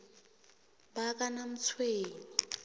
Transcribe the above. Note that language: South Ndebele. bakanamtshweni